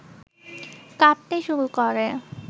কাঁপতে শুরু করে